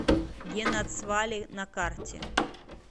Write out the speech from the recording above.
генацвале на карте